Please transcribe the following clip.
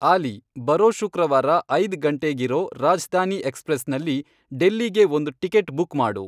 ಆಲಿ, ಬರೋ ಶುಕ್ರವಾರ ಐದ್ ಗಂಟೇಗಿರೋ ರಾಜ್ಧಾನಿ ಎಕ್ಸ್ಪ್ರೆಸ್ನಲ್ಲಿ ಡೆಲ್ಲೀಗೆ ಒಂದ್ ಟಿಕೆಟ್ ಬುಕ್ ಮಾಡು